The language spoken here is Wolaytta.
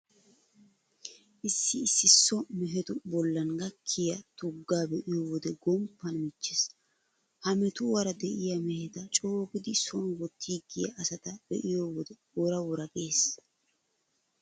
Issi issi so mehetu bollan gakkiya tuggaa be'iyo wode gomppan michchees. Ha metuwara de'iya meheta coogidi soon wottiiggiya asata be'iyo wode wora wora gees.